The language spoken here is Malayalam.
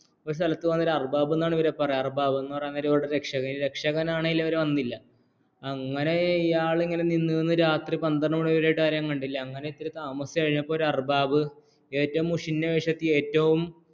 അർബാബ് എന്നാണ് ഇവരെ ഇവരുടെ രക്ഷകർ വന്നില്ല അങ്ങനെ ഇയാൾ നിന്ന് നിന്ന് രാത്രി പത്രണ്ട് മണിവരെ യായിട്ടും ആരെയും കണ്ടില്ലങ്ങനെ ഇത്തിരി താമസിച്ചു കഴിഞ്ഞപ്പോഴേക്കും ഏറ്റവും മുഷിഞ്ഞ വേഷത്തിലേക്ക് ഏറ്റവും